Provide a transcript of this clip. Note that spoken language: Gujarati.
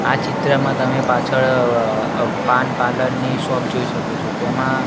આ ચિત્રમાં તમે પાછળ અ અ પાન પાર્લર ની શોપ જોઈ શકો છો તેમાં--